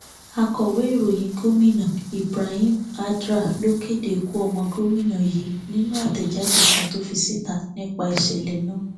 akọwé ìròyìn gómìnà ibrahim addra ló kéde ikú ọmọ gómìnà yìí nínú àtẹjáde kan tó fi síta nípa ìṣẹlẹ náà